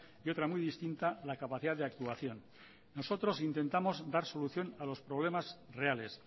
y otra muy distinta la capacidad de actuación nosotros intentamos dar solución a los problemas reales